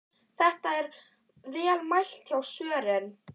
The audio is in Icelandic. Þetta er vel mælt hjá Sören.